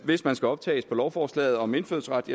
hvis man skal optages på lovforslaget om indfødsret